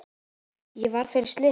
Ég varð fyrir slysi